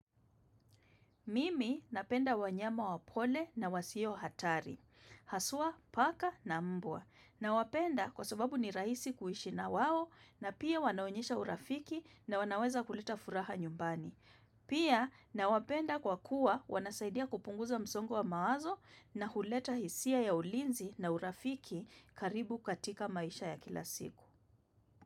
Mimi napenda wanyama wa pole na wasiohatari. Haswa, paka na mbwa. Nawapenda kwa sababu ni rahisi kuishi na wao na pia wanaonyesha urafiki na wanaweza kuleta furaha nyumbani. Pia na wapenda kwa kuwa wanasaidia kupunguza msongo wa mawazo na huleta hisia ya ulinzi na urafiki karibu katika maisha ya kila siku.